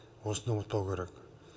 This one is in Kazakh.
осыны ұмытпау керек